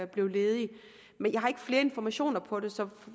blev ledig men jeg har ikke flere informationer på det så